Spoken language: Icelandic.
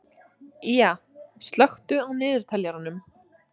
Ýja, slökktu á niðurteljaranum.